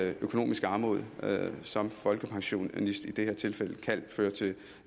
økonomisk armod som folkepensionist i det her tilfælde kan føre til